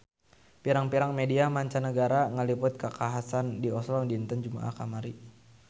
Pirang-pirang media mancanagara ngaliput kakhasan di Oslo dinten Jumaah kamari